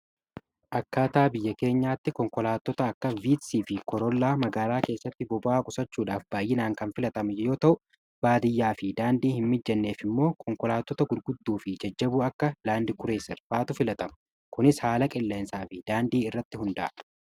Akkaataa biyya keenyaatti konkolaattota akka viiksii fi korollaa magaalaa keessatti boba'aa qusachuudhaaf baay'inaan kan filatamu yoo ta'u baadiyyaa fi daandii hin mijanneef immoo konkolaattota gurguddaa fi jajjaboo akka Laandi Kureeser fa'atu filatama. Kunis haala qilleensaa fi daandii irratti hundaa'a.